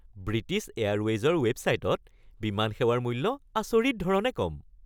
British এয়াৰৱেইজৰ ৱেবছাইটত বিমান সেৱাৰ মূল্য আচৰিত ধৰণে কম।